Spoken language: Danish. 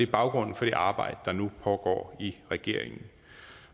baggrunden for det arbejde der nu pågår i regeringen